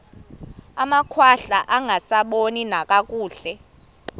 amakhwahla angasaboni nakakuhle